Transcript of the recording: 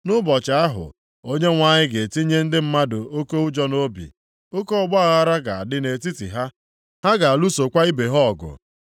Nʼụbọchị ahụ, Onyenwe anyị ga-etinye ndị mmadụ oke ụjọ nʼobi. Oke ọgbaaghara ga-adị nʼetiti ha, ha ga-alụsokwa ibe ha ọgụ.